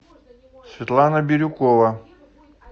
светлана бирюкова